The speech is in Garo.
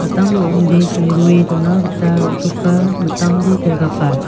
mitam ro·ongde songdoe dona gita ro·choka mitamde pel·gapa.